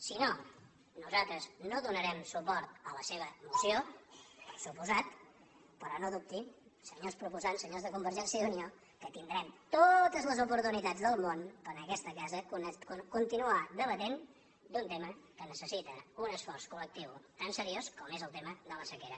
si no nosaltres no donarem suport a la seva moció per descomptat però no dubtin senyors pro posants senyors de convergència i unió que tindrem totes les oportunitats del món per en aquesta casa continuar debatent un tema que necessita un esforç collectiu tan seriós com és el tema de la sequera